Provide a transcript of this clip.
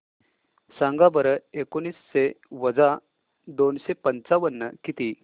सांगा बरं एकोणीसशे वजा दोनशे पंचावन्न किती